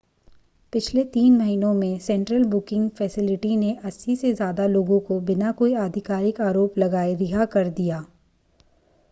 पिछले 3 महीनों में सेंट्रल बुकिंग फ़ेसिलिटी ने 80 से ज़्यादा लोगों को बिना कोई आधिकारिक आरोप लगाए रिहा कर दिया